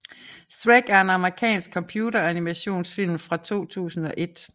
Shrek er en amerikansk computeranimationsfilm fra 2001